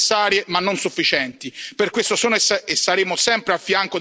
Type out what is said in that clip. Per questo sosteniamo queste sanzioni che sono necessarie ma non sufficienti.